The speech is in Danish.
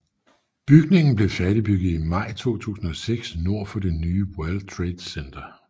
Bygningen blev færdigbygget i maj 2006 nord for det nye World Trade Center